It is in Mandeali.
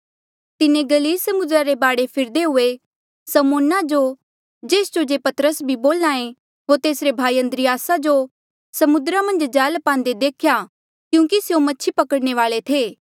तिन्हें गलील समुद्रा रे बाढे फिरदे हुए समौन जो जेस्जो जे पतरस बी बोल्हा ऐें होर तेसरे भाई अन्द्रियासा जो समुद्रा मन्झ जाल पांदे देख्या क्यूंकि स्यों मछी पकड़ने वाल्ऐ थे